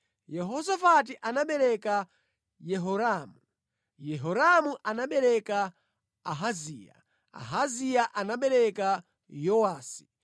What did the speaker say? Yehosafati anabereka Yehoramu, Yehoramu anabereka Ahaziya, Ahaziya anabereka Yowasi,